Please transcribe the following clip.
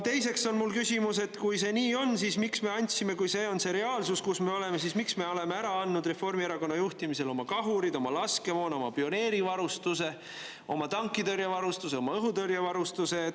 Teiseks on mul küsimus, et kui see nii on, kui see on see reaalsus, kus me oleme, siis miks me oleme Reformierakonna juhtimisel ära andnud oma kahurid, oma laskemoona, oma pioneerivarustuse, oma tankitõrjevarustuse, oma õhutõrjevarustuse.